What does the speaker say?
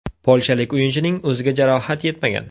Polshalik o‘yinchining o‘ziga jarohat yetmagan.